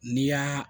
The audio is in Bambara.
N'i y'a